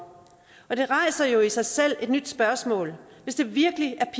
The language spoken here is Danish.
det rejser jo i sig selv et nyt spørgsmål hvis det virkelig er